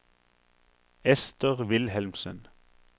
Ester Wilhelmsen